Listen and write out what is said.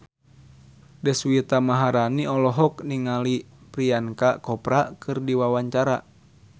Deswita Maharani olohok ningali Priyanka Chopra keur diwawancara